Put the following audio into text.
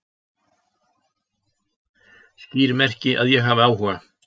Skýr merki að ég hafi áhuga